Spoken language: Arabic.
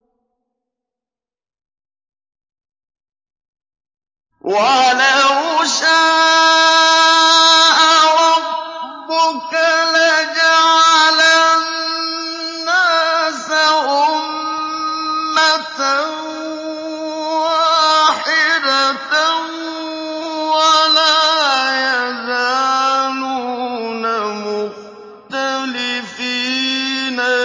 وَلَوْ شَاءَ رَبُّكَ لَجَعَلَ النَّاسَ أُمَّةً وَاحِدَةً ۖ وَلَا يَزَالُونَ مُخْتَلِفِينَ